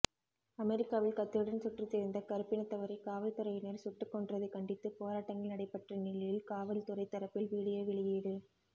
அமெரிக்காவில் கத்தியுடன் சுற்றித்திரிந்த கருப்பினத்தவரைக் காவல்துறையினர் சுட்டுக்கொன்றதைக் கண்டித்து போராட்டங்கள் நடைபெற்ற நிலையில் காவல்துறை தரப்பில் விடியோ வெளியீடு